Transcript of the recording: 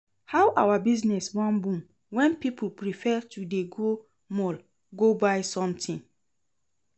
How our business wan boom when people prefer to dey go mall go buy something?